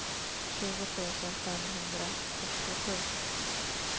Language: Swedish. tjugo tusen femhundrafyrtiosju